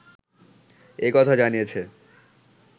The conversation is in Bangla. একথা জানিয়েছে